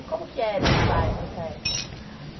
E como que era esse bairro essa época?